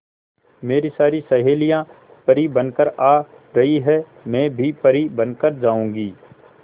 मेरी सारी सहेलियां परी बनकर आ रही है मैं भी परी बन कर जाऊंगी